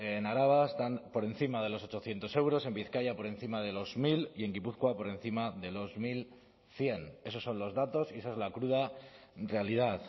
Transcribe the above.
en araba están por encima de los ochocientos euros en bizkaia por encima de los mil y en gipuzkoa por encima de los mil cien esos son los datos y esa es la cruda realidad